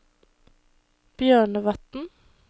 Bjørnevatn